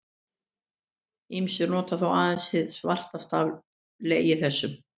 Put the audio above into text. Ýmsir nota þó aðeins hið svartasta af legi þessum.